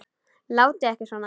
Látið ekki svona.